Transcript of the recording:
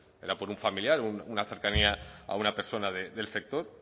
era por un familiar una cercanía a una persona del sector